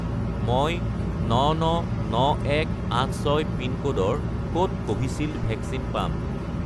মই 999186 পিনক'ডৰ ক'ত কোভিচিল্ড ভেকচিন পাম?